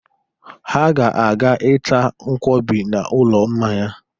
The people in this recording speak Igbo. Ha ga-aga ịta nkwọbi n'ụlọ mmanya.